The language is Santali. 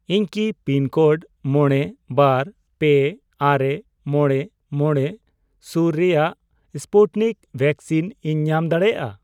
ᱤᱧ ᱠᱤ ᱯᱤᱱᱠᱳᱰ ᱢᱚᱬᱮ, ᱵᱟᱨ, ᱯᱮ, ᱟᱨᱮ, ᱢᱚᱬᱮ, ᱢᱚᱬᱮ ᱥᱩᱨ ᱨᱮᱭᱟᱜ ᱥᱯᱩᱴᱱᱤᱠ ᱵᱷᱮᱠᱥᱤᱱ ᱤᱧ ᱧᱟᱢ ᱫᱟᱲᱤᱭᱟᱜᱼᱟ ?